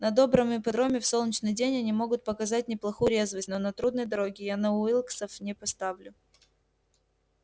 на добром ипподроме в солнечный день они могут показать неплохую резвость но на трудной дороге я на уилксов не поставлю